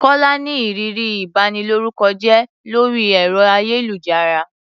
Kọ́lá ní ìrírí ìbanilórúkọjẹ́ lórí ẹ̀rọ-ayélujára.